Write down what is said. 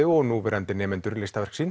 og núverandi nemendur listaverk sín